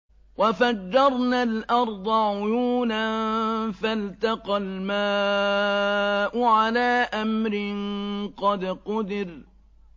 وَفَجَّرْنَا الْأَرْضَ عُيُونًا فَالْتَقَى الْمَاءُ عَلَىٰ أَمْرٍ قَدْ قُدِرَ